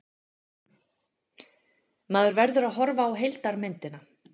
Maður verður að horfa á heildarmyndina.